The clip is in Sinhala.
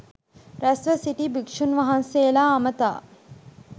රැස්ව සිටි භික්ෂූන් වහන්සේලා අමතා